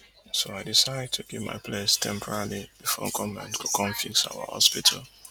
so i decide to give my place temporarily bifor goment go come fix our hospital